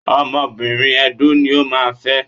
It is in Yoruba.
Ọmọbìnrin Edó ni o máa fẹ́.